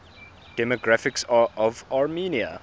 demographics of armenia